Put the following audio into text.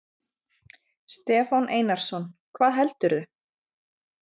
Stefán Einarsson: Hvað heldurðu?